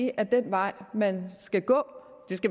er den vej man skal gå